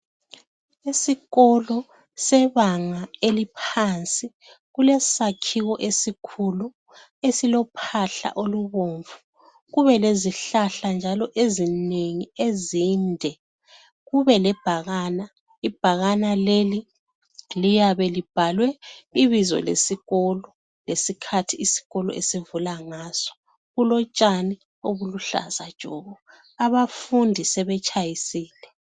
Esikolo sebanga eliphansi, kulesakhiwo esikhulu esilophahla olubomvu, kube lezihlahla njalo ezinengi ezinde, kube lebhakana. Ibhakane leli liyabe libhalwe ibizo lesikolo, lesikhathi isikolo esivulwa ngaso. Kulotshani obuluhlaza tshoko. Abafundi sebetshayisile.